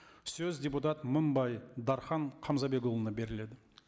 сөз депутат мыңбай дархан қамзабекұлына беріледі